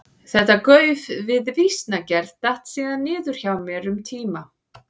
Þetta gauf við vísnagerð datt síðan niður hjá mér um tíma.